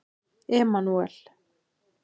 Emanúel